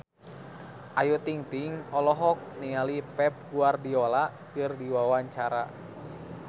Ayu Ting-ting olohok ningali Pep Guardiola keur diwawancara